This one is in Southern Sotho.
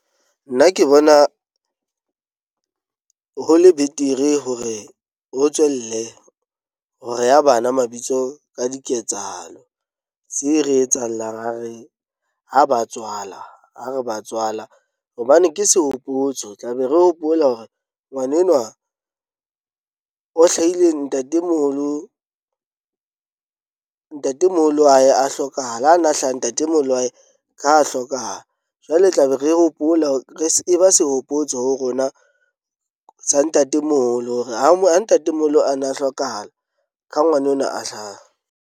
Nna ke bona ho le betere hore ho tswelle ho reya bana mabitso ka diketsahalo tse re etsang la ra re ha ba tswala ha re ba tswala. Hobane ke sehopotso tla be re hopola hore ngwanenwa o hlahile ntatemoholo, ntatemoholo wa hae a hlokahahala ha na a hlaha, ntatemoholo wa hae ka ha hlokahala. Jwale e tla be re hopola re e ba se hopotso ho rona sa ntatemoholo hore ha mo ha ntatemoholo a na a hlokahala ka ngwana onwa a hlaha.